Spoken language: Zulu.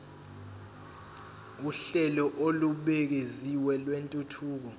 uhlelo olubukeziwe lwentuthuko